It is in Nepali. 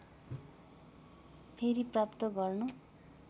फेरि प्राप्त गर्न